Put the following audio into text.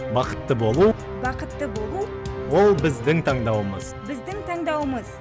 бақытты болу бақытты болу ол біздің таңдауымыз біздің таңдауымыз